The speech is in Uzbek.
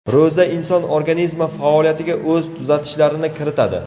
Ro‘za inson organizmi faoliyatiga o‘z tuzatishlarini kiritadi.